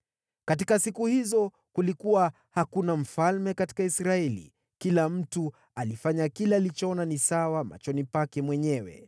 Katika siku hizo kulikuwa hakuna mfalme katika Israeli; kila mtu alifanya kile alichoona ni sawa machoni pake mwenyewe.